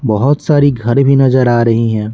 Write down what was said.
बहुत सारी घर भी नजर आ रही हैं।